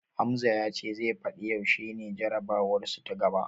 Hamza ya ce zai fadi yaushe ne jarabawarsu ta gaba.